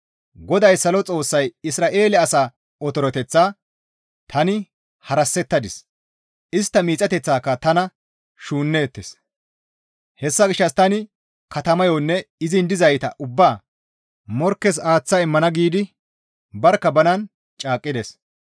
GODAY Salo Xoossay, «Isra7eele asa otoreteththaa tani harassettadis; istta miixatikka tana shuunneettes; hessa gishshas tani katamayonne izin dizayta ubbaa morkkes aaththa immana» giidi barkka banan caaqqides.